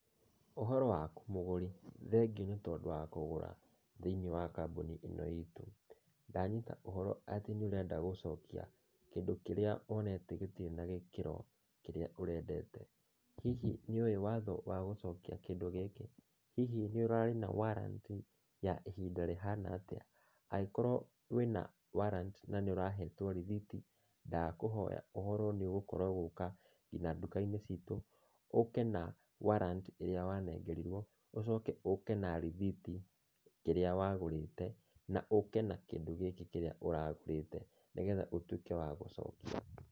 Ũhoro waku mũgũri? Thengio nĩ tondũ wa kũgũra thĩiniĩ wa kambuni ĩno itũ. Ndanyita ũhoro atĩ nĩũrenda gũcokia kĩndũ kĩrĩa wonete gĩtirĩ na gĩkĩro kĩrĩa ũrendete. Hihi nĩ ũĩ watho wa gũcokia kĩndũ gĩkĩ? Hihi nĩ ũrarĩ na warranty ya ihinda rĩhana atĩa? Angĩkorwo wĩna warrant na nĩ ũrahetwo rĩthiti, ndakũhoya ũhorwo nĩũgũkorwo ũgĩũka nginya nduka-inĩ citũ, ũke na warrant ĩrĩa wanengerirwo, ũcoke ũke na rĩthiti ĩrĩa wagũrĩte na ũke kĩndũ gĩkĩ kĩrĩa ũragũrĩte, nĩgetha ũtuĩke wa gũcokia.